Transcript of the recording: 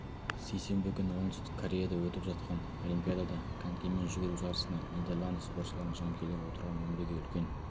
сейсенбі күні оңтүстік кореяда өтіп жатқан олимпиадада конькимен жүгіру жарысында нидерланды спортшыларының жанкүйерлері отырған мінбеге үлкен